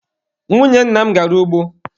Nwunye nna m gara ugbo.